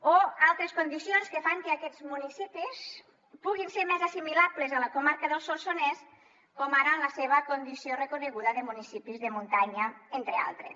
o altres condicions que fan que aquests municipis puguin ser més assimilables a la comarca del solsonès com ara la seva condició reconeguda de municipis de muntanya entre d’altres